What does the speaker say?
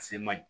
A se man ɲi